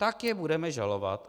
Tak je budeme žalovat.